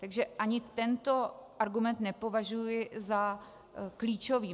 Takže ani tento argument nepovažuji za klíčový.